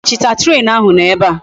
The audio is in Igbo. Lahachita! train ahu no ebea!